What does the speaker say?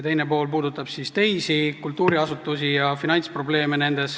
Teine pool puudutab teisi kultuuriasutusi ja nende finantsprobleeme.